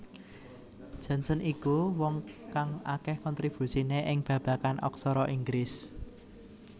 Johnson iku wong kang akeh kontribusine ing babagan aksara Inggris